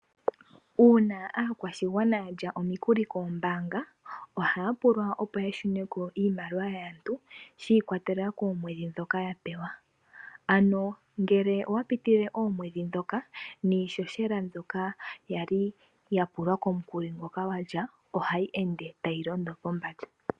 Uuna aakwashigwana ya lya omikuli koombaanga ohaya pulwa opo ya shune ko iimaliwa yaantu shi ikwatelela koomwedhi ndhoka ya pewa, ano ngele owa pitilile oomwedhi ndhoka niihohela mbyoka ya li ya pulwa komukuli ngoka wa li wa kutha ohayi ende tayi londo pombanda.